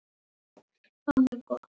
Þá fékk ég móral.